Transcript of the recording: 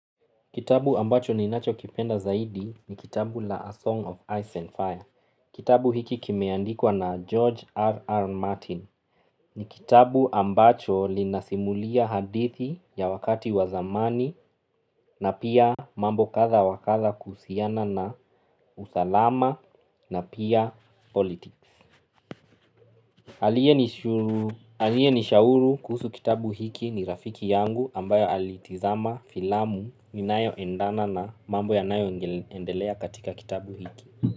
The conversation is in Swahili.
Kitabu ambacho ninacho kipenda zaidi ni kitabu la A Song of Ice and Fire. Kitabu hiki kimeandikwa na George R. R. Martin ni kitabu ambacho kinasimulia hadithi ya wakati wa zamani na pia mambo kadha wakadha kuhusiana na usalama na pia politiki. Aliye nishauri kuhusu kitabu hiki ni rafiki yangu ambaye alitazama filamu inayo endana na mambo yanayo endelea katika kitabu hiki.